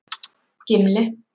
Gimli